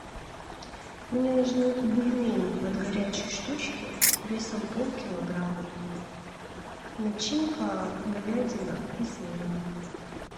мне нужны бульмени от горячей штучки весом полкилограмма начинка говядина и свинина